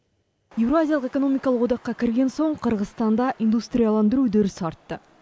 еуразиялық экономиқалық одаққа кірген соң қырғызстанда индустрияландыру үдерісі артты